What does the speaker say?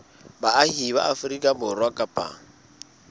baahi ba afrika borwa kapa